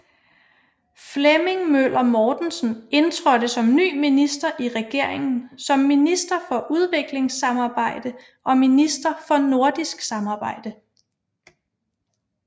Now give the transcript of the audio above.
Flemming Møller Mortensen indtrådte som ny minister i regeringen som minister for udviklingssamarbejde og minister for nordisk samarbejde